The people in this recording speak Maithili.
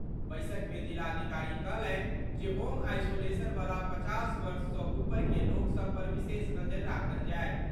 बैसक मे जिलाधिकारी कहलनि जे होम आईसोलेशन वला पचास वर्ष सँ ऊपर के लोक सभ पर विशेष नजरि राखल जाएत।